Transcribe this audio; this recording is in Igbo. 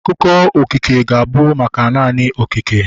Akụkọ okike ga-abụ maka naanị okike